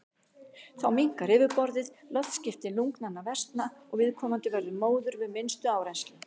Þá minnkar yfirborðið, loftskipti lungnanna versna og viðkomandi verður móður við minnstu áreynslu.